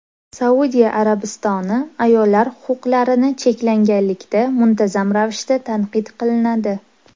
Saudiya Arabistoni ayollar huquqlarini cheklaganlikda muntazam ravishda tanqid qilinadi.